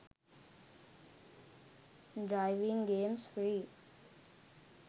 driving games free